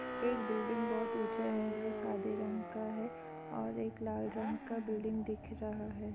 एक बिल्डिंग बहुत ऊंचा है जो सादे रंग का है और एक लाल रंग का बिल्डिंग दिख रहा हैं।